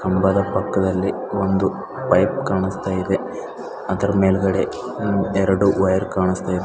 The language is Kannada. ಕಂಬದ ಪಕ್ಕದಲ್ಲಿ ಒಂದು ಪೈಪ್ ಕಾಣಸ್ತಾಇದೆ ಅದರ ಮೇಲ್ಗಡೆ ಎರಡು ವಯರ್ ಕಾಣಸ್ತಾಇದೆ.